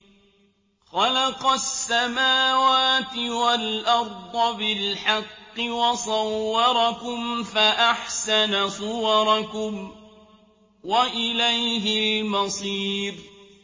خَلَقَ السَّمَاوَاتِ وَالْأَرْضَ بِالْحَقِّ وَصَوَّرَكُمْ فَأَحْسَنَ صُوَرَكُمْ ۖ وَإِلَيْهِ الْمَصِيرُ